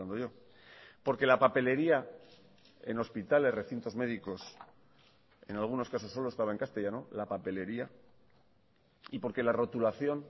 yo porque la papelería en hospitales recintos médicos en algunos casos solo estaba en castellano la papelería y porque la rotulación